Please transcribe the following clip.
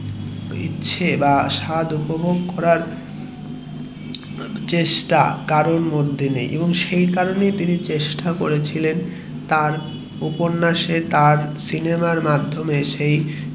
ইচ্ছে বা স্বাদ উপভোগ করার চেষ্টা কারোর মধ্যে নেই আর সেই কারণেই তিনি চেষ্টা করেছিলেন যে তার উপন্যাস এর বা তার সিনেমার মধ্যে দিয়ে